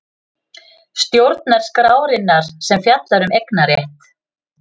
Stjórnarskrárinnar sem fjallar um eignarétt.